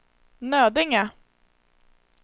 Nödinge